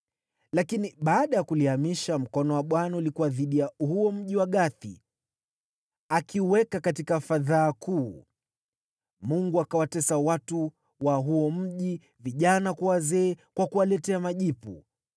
Lakini baada ya kulihamisha, mkono wa Bwana ulikuwa dhidi ya huo mji wa Gathi, akiuweka katika fadhaa kuu. Mungu akawatesa watu wa huo mji, vijana kwa wazee, kwa kuwaletea majipu.